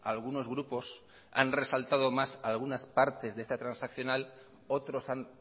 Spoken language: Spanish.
algunos grupos han resaltado más algunas partes de esta transaccional otros han